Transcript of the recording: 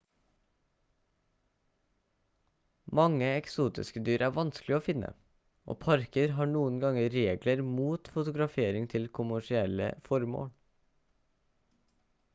mange eksotiske dyr er vanskelig å finne og parker har noen ganger regler mot fotografering til kommersielle formål